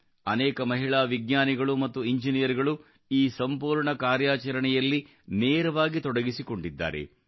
ಅನೇಕ ಮಹಿಳಾ ವಿಜ್ಞಾನಿಗಳು ಮತ್ತು ಎಂಜಿನಿಯರ್ಗಳು ಈ ಸಂಪೂರ್ಣ ಕಾರ್ಯಾಚರಣೆಯಲ್ಲಿ ನೇರವಾಗಿ ತೊಡಗಿಸಿಕೊಂಡಿದ್ದಾರೆ